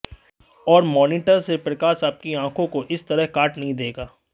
और मॉनिटर से प्रकाश आपकी आंखों को इस तरह काट नहीं देगा